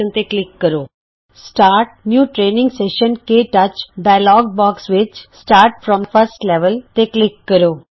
ਨਵਾਂ training session ਸ਼ੁਰੂ ਕੇ touch start new training session- ਕਟਚ ਡਾਇਲੋਗ ਬੌਕਸ ਵਿੱਚ ਪਹਿਲੇ ਲੈਵਲ ਦੀ ਸ਼ੁਰੂਆਤ ਤੇ ਕਲਿਕ ਕਰੋ